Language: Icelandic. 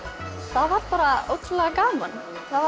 það var bara ótrúlega gaman